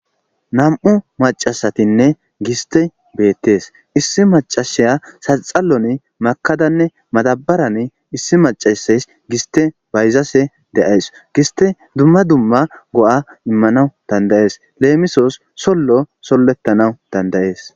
nam7u macasatinne giste bettees issi macashiya saxallon makadanne matabaran issi macasays giste bayzase de7ays giste duma duma go7a immanawu dandayees leemisoos sollo sollettanaw dandayees.